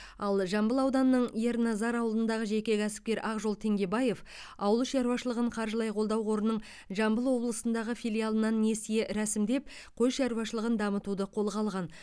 ал жамбыл ауданының ерназар ауылындағы жеке кәсіпкер ақжол теңгебаев ауыл шаруашылығын қаржылай қолдау қорының жамбыл облысындағы филиалынан несие рәсімдеп қой шаруашылығын дамытуды қолға алған